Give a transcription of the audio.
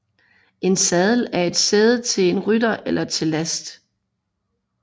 En sadel er sæde til en rytter eller til last